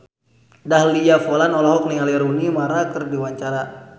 Dahlia Poland olohok ningali Rooney Mara keur diwawancara